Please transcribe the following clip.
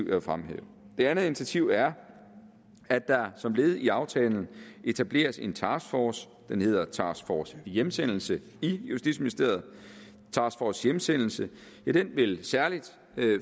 vil fremhæve det andet initiativ er at der som led i aftalen etableres en taskforce den hedder task force hjemsendelse i justitsministeriet task force hjemsendelse vil særlig